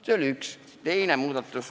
" See oli üks muudatus.